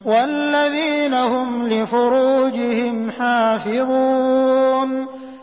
وَالَّذِينَ هُمْ لِفُرُوجِهِمْ حَافِظُونَ